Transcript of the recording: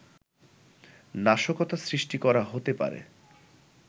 নাশকতা সৃষ্টি করা হতে পারে